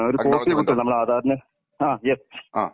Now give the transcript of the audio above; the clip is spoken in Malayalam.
ഡോക്യുമേന്ടോആ.